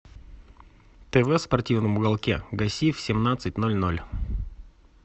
тв в спортивном уголке гаси в семнадцать ноль ноль